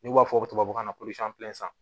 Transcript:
N'u b'a fɔ tubabu kan na ko